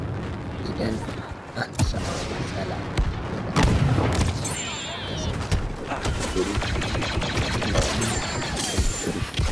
Idan an samu matsala, yana da kyau mutum ya kasance mai haƙuri da tunani mai zurfi.